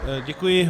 Děkuji.